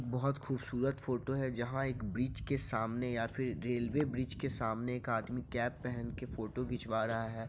बहुत खूबसूरत फोटो है जहाँ एक ब्रिज के सामने या फिर रेलवे ब्रिज के सामने एक आदमी कैप पहन के फोटो खींचवा रहा है।